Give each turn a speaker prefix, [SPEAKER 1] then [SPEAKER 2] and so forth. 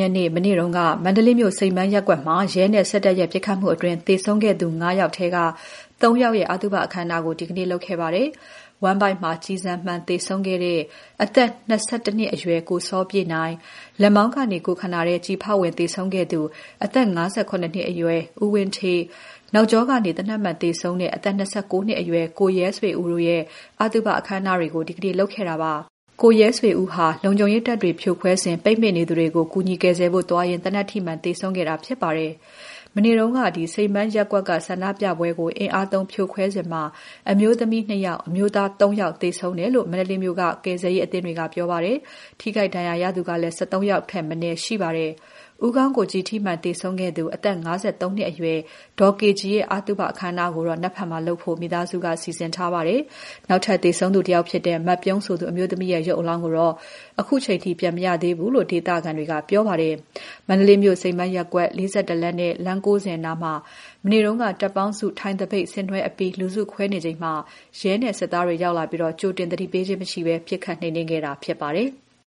[SPEAKER 1] ရက်နေ့ မနေ့က မန္တလေးမြို့ စိန်ပန်းရပ်ကွက်မှာ ရဲနဲ့ စစ်တပ်ရဲ့ ပစ်ခတ်မှုအတွင်း သေဆုံးခဲ့သူ ၅ ယောက်ထဲက ၃ ယောက်ရဲ့ အသုဘအခမ်းအနားကို ဒီနေ့လုပ်ခဲ့ပါတယ်။ ဝမ်းဗိုက်မှာ ကျည်ဆန်မှန် သေဆုံးခဲ့တဲ့ အသက် ၂၁ နှစ်အရွယ် ကိုစောပြည့်နိုင်၊ လက်မောင်းကနေ ကိုယ်ခန္ဓာထဲ ကျည်ဖောက်ဝင် သေဆုံးခဲ့သူ အသက် ၅၇ နှစ်အရွယ် ဦးဝင်းဌေးတို့ရဲ့ အသုဘ အခမ်းအနားတွေကို ဒီနေ့လုပ်ခဲ့ပါတယ်။ နောက်ကျောကနေ သေနတ်မှန် သေဆုံးတဲ့ အသက် ၂၉ နှစ်အရွယ် ကိုရဲဆွေဦးရဲ့ အသုဘ အခမ်းအနားကိုလည်း ဒီနေ့လုပ်ခဲ့ပါတယ်။ သူကတော့ လုံခြုံရေးတပ်တွေ ဖြိုခွဲစဉ် ပိတ်မိနေသူတွေကို ကူညီကယ်ဆယ်ဖို့ သွားရင်း သေနတ်ထိမှန် သေဆုံးခဲ့တာ ဖြစ်ပါတယ်။ မနေ့က စိန်ပန်းရပ်ကွက်က ဆန္ဒပြပွဲကို အင်အားသုံးဖြိုခွဲစဉ် အမျိုးသမီး ၂ ယောက်၊ အမျိုးသား ၃ ယောက် သေဆုံးတယ်လို့ မန္တလေးမြို့က ကယ်ဆယ်ရေးအသင်းတွေက ပြောပါတယ်။ ထိခိုက်ဒဏ်ရာရသူကလည်း ၁၃ ယောက်ထက်မနည်း ရှိခဲ့ပါတယ်။ ဦးခေါင်းကို ကျည်ထိမှန် သေဆုံးခဲ့သူ အသက် ၅၃ နှစ်အရွယ် ဒေါ်ကေကြည်ရဲ့ အသုဘအခမ်းအနားကိုတော့ မနက်ဖြန်မှာလုပ်ဖို့ မိသားစုက စီစဉ်ထားပါတယ်။ နောက်ထပ်သေဆုံးသူ တယောက်ဖြစ်တဲ့ မပြုံးဆိုသူ အမျိုးသမီးရဲ့ ရုပ်အလောင်းကိုတော့ အခုထိ ပြန်မရသေးဘူးလို့ ဒေသခံတွေက ပြောပါတယ်။ မန္တလေးမြို့ စိန်ပန်းရပ်ကွက်၊ ၄၁ လမ်းနဲ့ လမ်း ၉၀ နားမှာ မနေ့က တပ်ပေါင်းစု ထိုင်သပိတ်ဆင်နွှဲအပြီး လူစုခွဲနေချိန်မှာ ရဲနဲ့ စစ်သားတွေ ရောက်လာပြီး ကြိုတင်သတိပေးခြင်း မရှိဘဲ ပစ်ခတ်နှိမ်နင်းခဲ့တာ ဖြစ်ပါတယ်။